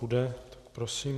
Bude, tak prosím.